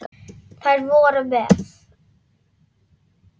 Þær voru með